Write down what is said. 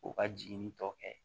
O ka jiginni tɔ kɛ